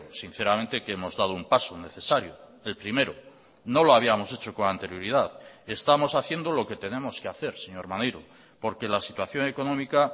sinceramente que hemos dado un paso necesario el primero no lo habíamos hecho con anterioridad estamos haciendo lo que tenemos que hacer señor maneiro porque la situación económica